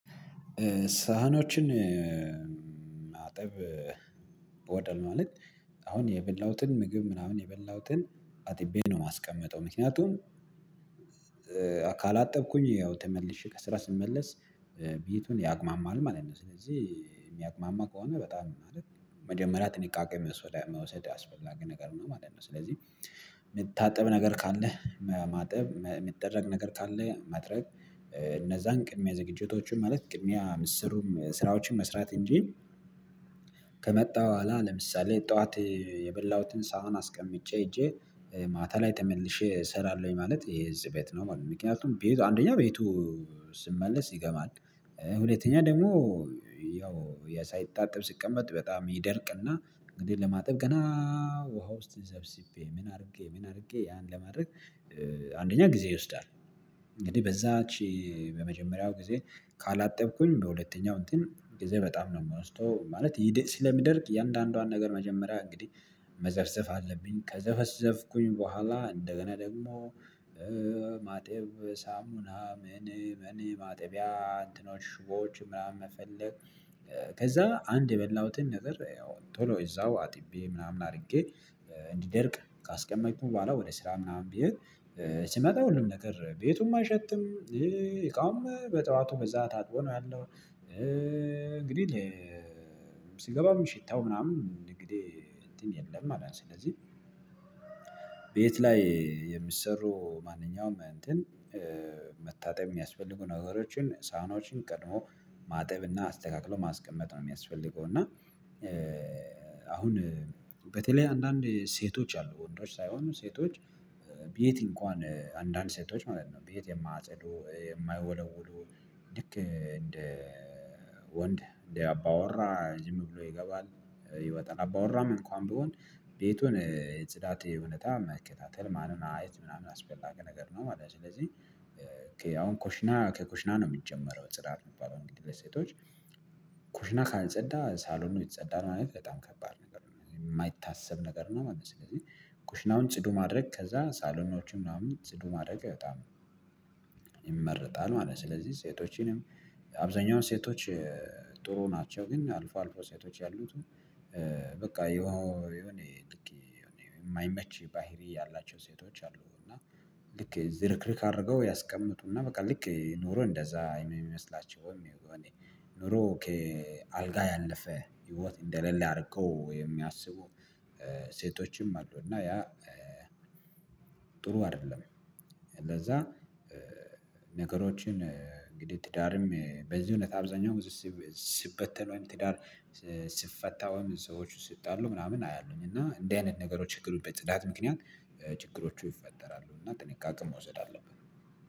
ሳህኖችን ማጠብ ወደ ማለት አሁን የበላሁትን ምግብ ምናምን የበላሁትን አጥቤ ነው የማስቀምጠው። ምክንያቱም አካል አጠብኩኝ ያው ተመልሼ ከስራ ስመለስ ቤቱን ያግማማል ማለት ነው። ስለዚህ የሚያግማማ ከሆነ በጣም ማለት ነው መጀመሪያ ጥንቃቄ መውሰድ አስፈላጊ ነገር ማለት ነው። ስለዚህ የሚታጠብ ነገር ካለ ማጠብ የሚጠረግ ነገር ካለ መጥረግ እነዛን ቅድሚያ ዝግጅቶችን ማለት ቅድሚያ ምስሩም ስራዎችን መስራት እንጂ። ከመጣ በኋላ ለምሳሌ ጠዋት የበላሁትን ሳህን አስቀምጬ ሄጄ ማታ ላይ ተመልሼ እሰራለሁኝ ማለት ይሄ እዚህ ቤት ነው ማለት ነው። ምክንያቱም ቤቱ አንደኛ ቤቱ ስመለስ ይገማል። ሁለተኛ ደግሞ ያው ሳይታጠብ ሲቀመጥ በጣም ይደርቅና እንግዲህ ለማጠብ ገና ውሃ ውስጥ ዘብዝቤ ምን አድርጌ ምን አድርጌ ያን ለማድረግ አንደኛ ጊዜ ይወስዳል። እንግዲህ በዛች በመጀመሪያው ጊዜ ካላጠብኩኝ በሁለተኛው እንትን ጊዜ በጣም ነው የምወስደው። ማለት ስለሚደርቅ እያንዳንዷን ነገር መጀመሪያ እንግዲህ መዘፍዘፍ አለብኝ ከዘፈዘፍኩኝ በኋላ እንደገና ደግሞ ማጤብ ሳሙና ምን ምናምን ማጠቢያ እንትኖች ሽቦዎች ምናምን መፈለግ። ከዛ አንድ የበላሁትን ነገር ያው ቶሎ እዛው አጥቤ ምናምን አድርጌ እንዲደርቅ ካስቀመጥኩኝ በኋላ ወደ ስራ ምናምን ብሄድ ሲመጣ ሁሉም ነገር ቤቱም አይሸትም እቃውም በጠዋቱ በዛ ታጥቦ ነው ያለው። እንግዲህ ሽታው ምናምን እንግዲህ እንትን የለም አላንስ ስለዚህ ቤት ላይ የሚሰሩ ማንኛውም እንትን መታጠብ የሚያስፈልጉ ነገሮችን ሳህኖችን ቀድሞ ማጠብና አስተካክሎ ማስቀመጥ ነው የሚያስፈልገው። እና አሁን በተለይ አንዳንድ ሴቶች አሉ ወንዶች ሳይሆኑ ሴቶች በየት እንኳን አንዳንድ ሴቶች ማለት ነው። ቤት የማያጸዱ የማያወለውሉ ልክ እንደ ወንድ እንደ አባወራ ዝም ብሎ ይገባል ይወጣል አባወራም እንኳን ቢሆን ቤቱን የጽዳት ሁነቴ መከታተል ማን ማየት ምናምን አስፈላጊ ነገር ነው። ማለት ነው ስለዚህ አሁን ኮሽና ከኮሽና ነው የሚጀመረው። ጽዳት የሚባለው እንግዲህ በሴቶች ኮሽና ካልጸዳ ሳሎኑ ይጸዳል ማለት በጣም ከባድ ነገር የማይታሰብ ነገር ነው ማለት ነው። ስለዚህ ኩሽናውን ጽዱ ማድረግ ከዛ ሳሎኖችም ምናምን ጽዱ ማድረግ በጣም ይመረጣል ማለት ነው። ስለዚህ ሴቶችንም አብዛኛው ሴቶች ጥሩ ናቸው። ግን አልፎ አልፎ ሴቶች ያሉት በቃ የሆነ የማይመች ባህሪ ያላቸው ሴቶች አሉ። እና ልክ ዝርክርክ አድርገው ያስቀምጡና በቃ ልክ ኑሮ እንደዛ የሚመስላቸው ይሄ ኖሮ ከአልጋ ያለፈ ህይወት እንደሌለ አድርገው የሚያስቡ ሴቶችም አሉ። እና ያ ጥሩ አይደለም። ለዛ ነገሮችን እንግዲህ ትዳርም በዚህ እውነት አብዛኛው ጊዜ ሲበተን ወይም ትዳር ሲፈታ ወይም ሰዎች ሲጣሉ ምናምን አያለሁኝ። እና እንደዚህ አይነት ነገሮች ችግሩ በጽዳት ምክንያት ችግሮቹ ይፈጠራሉ። እና ጥንቃቄ መውሰድ አለብን